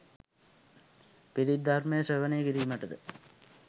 පිරිත් ධර්මය ශ්‍රවණය කිරීමටද